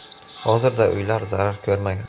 Hozirda uylar zarar ko‘rmagan.